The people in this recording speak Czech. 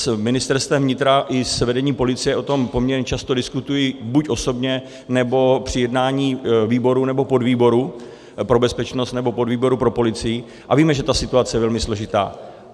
S Ministerstvem vnitra i s vedením policie o tom poměrně často diskutuji buď osobně, nebo při jednání výboru nebo podvýboru pro bezpečnost nebo podvýboru pro policii, a víme, že ta situace je velmi složitá.